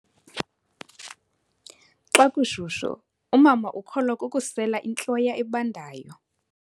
Xa kushushu umama ukholwa kukusela intloya ebandayo.